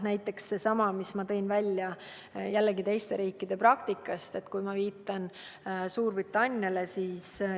Näiteks seesama, mis ma tõin välja teiste riikide praktikast, kui viitan Suurbritanniale.